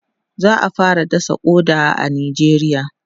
za'a fara dasa ƙoda a nijeriya